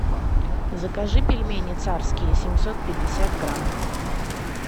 закажи пельмени царские семьсот пятьдесят грамм